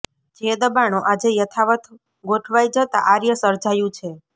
જે દબાણો આજે યથાવત ગોઠવાઈ જતાં આૃર્ય સર્જાયું છે